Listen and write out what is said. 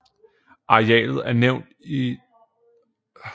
Arealet er nævnt i km2 og square miles